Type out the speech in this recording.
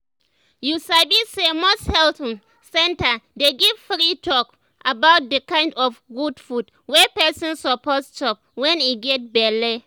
you sabi say most health um centers dey give free talk um about the um kind of good food wey person suppose chop wen e get belle